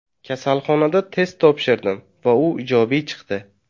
Kasalxonada test topshirdim va u ijobiy chiqdi.